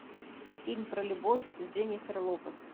фильм про любовь с дженнифер лопес